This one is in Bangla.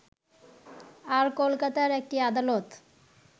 আর কলকাতার একটি আদালত